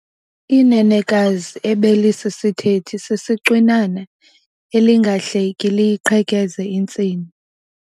Inenekazi ebelisisithethi sisicwinana elingahleki liyiqhekeze intsini.